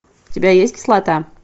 у тебя есть кислота